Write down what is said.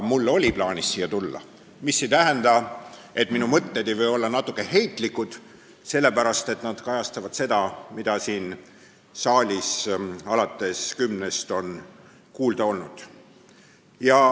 Mul oli plaanis siia tulla, mis ei tähenda, et minu mõtted ei või olla natuke heitlikud, sellepärast et nad kajastavad seda, mida siin saalis on alates kella kümnest kuulda olnud.